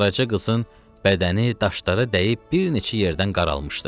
Qaraca qızın bədəni daşlara dəyib bir neçə yerdən qaralmışdı.